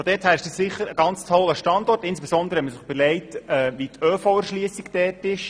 Von daher ist das sicher ein toller Standort, insbesondere wenn man sich überlegt, wie die ÖV-Erschliessung ist.